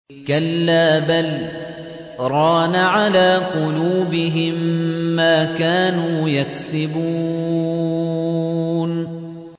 كَلَّا ۖ بَلْ ۜ رَانَ عَلَىٰ قُلُوبِهِم مَّا كَانُوا يَكْسِبُونَ